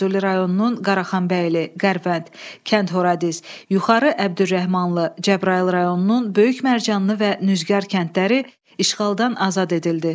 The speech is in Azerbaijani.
Füzuli rayonunun Qaraxanbəyli, Qərvənd, Kənd Horadiz, Yuxarı Əbdürrəhmanlı, Cəbrayıl rayonunun Böyük Mərcanlı və Nüzgar kəndləri işğaldan azad edildi.